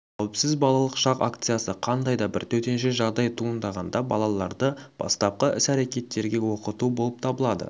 қауіпсіз балалық шақ акциясы қандай да бір төтенше жағдай туындағанда балаларды бастапқы іс-әрекеттерге оқыту болып табылады